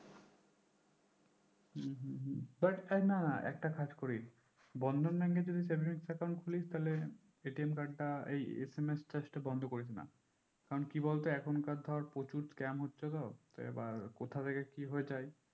দরকার নাই একটা কাজ করিস বন্ধন bank যদি savings account খুলিস তাহলে card টা এই SMS charge টা বন্দ করিসনা কারণ কি বলতো এখন কার ধরে প্রচুর scam হচ্ছে তো তো এবার কোথা থেকে কি হয়ে যাই